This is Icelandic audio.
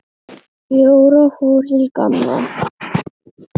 Jóra fór til Gamla.